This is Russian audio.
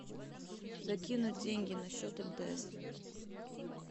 закинуть деньги на счет мтс